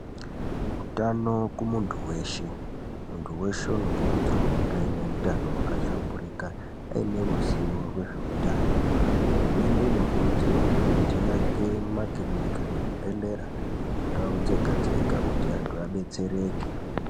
Utano kumuntu veshe muntu veshe unokurudzirwa kunge aine utano hwakahlamburuka aine ruzivo rwezveutano. Hurumende inokurudzirwazve kuti iake makirinika nezvibhedhlera mundau dzega-dzega kuti antu abetsereke.